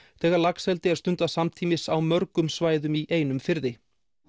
þegar laxeldi er stundað samtímis á mörgum svæðum í einum firði